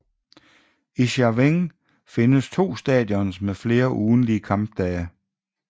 I Chaweng findes to stadions med flere ugentlige kampdage